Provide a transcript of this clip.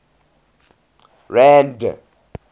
rand